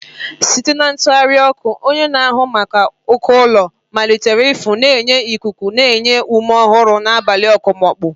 Site n'ịtụgharị ọkụ, onye na-ahụ maka uko ụlọ malitere ịfụ, na-enye ikuku na-enye ume ọhụrụ n'abalị okpomọkụ.